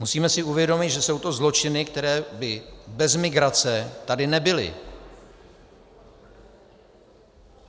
Musíme si uvědomit, že jsou to zločiny, které by bez migrace tady nebyly.